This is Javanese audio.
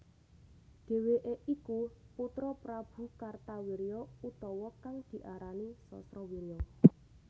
Dheweke iku putra Prabu Kartawirya utawa kang diarani Sasrawirya